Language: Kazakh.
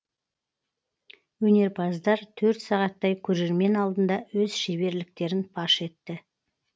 өнерпаздар төрт сағаттай көрермен алдында өз шеберліктерін паш етті